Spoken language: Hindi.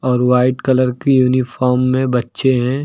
और व्हाइट कलर की यूनिफॉर्म में बच्चे हैं।